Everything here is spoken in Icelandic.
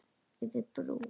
Yfir brú.